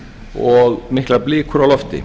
og miklar blikur á lofti